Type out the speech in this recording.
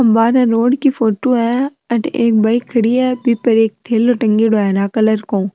बाहरे रोड की फोटो है अट एक बाइक खड़ी है बी पर एक थैलो टंगएडो है हरा कलर को।